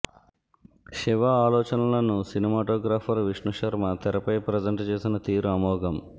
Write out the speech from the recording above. శివ ఆలోచనలను సినిమాటోగ్రాఫర్ విష్ణు శర్మ తెరపై ప్రజెంట్ చేసిన తీరు అమోఘం